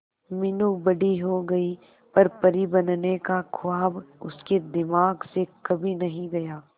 मीनू बड़ी हो गई पर परी बनने का ख्वाब उसके दिमाग से कभी नहीं गया